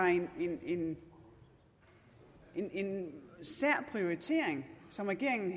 en en sær prioritering som regeringen